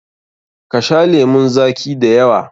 Ka sha lemun zaƙi da yawa!